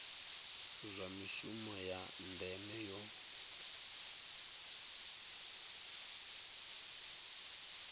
zwa mishumo ya ndeme yo